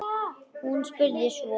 spurði hún svo.